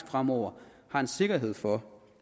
fremover har en sikkerhed for